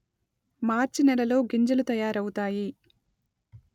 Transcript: మార్చి నెలలో గింజలు తయారవుతాయి